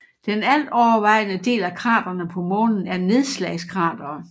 Den altovervejende del af kraterne på Månen er nedslagskratere